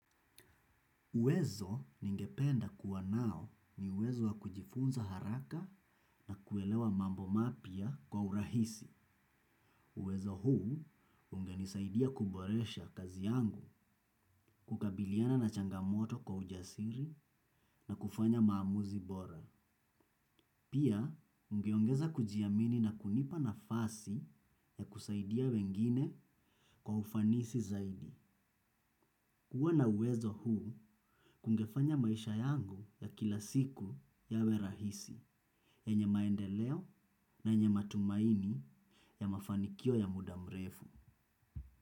Uwezo ningependa kuwa nao ni uwezo wa kujifunza haraka na kuelewa mambo mapya kwa urahisi. Uwezo huu ungenisaidia kuboresha kazi yangu kukabiliana na changamoto kwa ujasiri na kufanya maamuzi bora. Pia, ungeongeza kujiamini na kunipa nafasi ya kusaidia wengine kwa ufanisi zaidi. Kuwa na uwezo huu, kungefanya maisha yangu ya kila siku yawe rahisi, yenye maendeleo na yenye matumaini ya mafanikio ya muda mrefu.